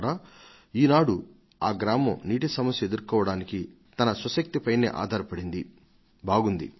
ఇవాళ వారి గ్రామం నీటి సమస్యకు ఎదురొడ్డి నిలువగలిగే శక్తి ని సంతరించుకొంది